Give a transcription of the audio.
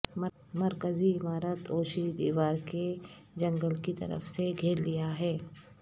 مرکزی عمارت اوشیش دیودار کے جنگل کی طرف سے گھیر لیا ہے